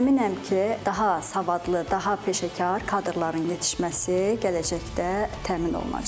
Əminəm ki, daha savadlı, daha peşəkar kadrların yetişməsi gələcəkdə təmin olunacaq.